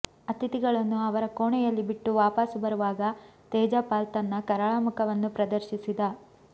ಅತಿಥಿಗಳನ್ನು ಅವರ ಕೋಣೆಯಲ್ಲಿ ಬಿಟ್ಟು ವಾಪಸು ಬರುವಾಗ ತೇಜಪಾಲ್ ತನ್ನ ಕರಾಳಮುಖವನ್ನು ಪ್ರದರ್ಶಿಸಿದ